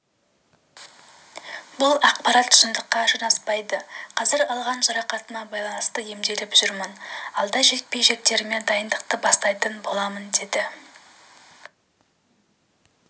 бұл ақпарат шындыққа жанаспайды қазір алған жарақатыма байланысты емделіп жүрмін алда жекпе-жектеріме дайындықты бастайтын боламын деді